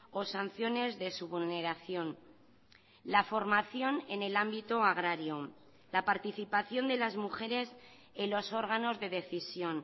o sanciones de su vulneración la formación en el ámbito agrario la participación de las mujeres en los órganos de decisión